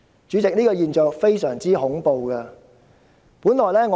主席，這個現象非常恐怖。